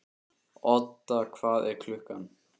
Odda, hvað er klukkan?